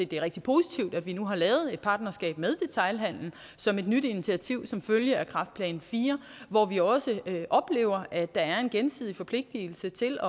det er rigtig positivt at vi nu har lavet et partnerskab med detailhandelen som et nyt initiativ som følge af kræftplan iv hvor vi også oplever at der er en gensidig forpligtelse til